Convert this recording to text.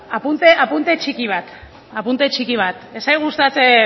apunte txiki bat apunte txiki bat ez zait gustatzen